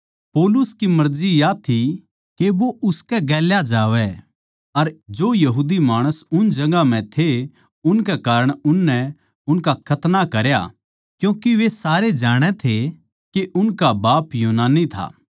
पौलुस की मर्जी या थी के वो उसके गेल्या जावै अर जो यहूदी माणस उन जगहां म्ह थे उनकै कारण उननै उनका खतना करया क्यूँके वे सारे जाणै थे के उनका बाप यूनानी था